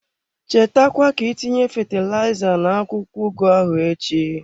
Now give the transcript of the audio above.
Cheta kwa ka itinye fatilaiza na-akwụkwọ ugu ahụ echi.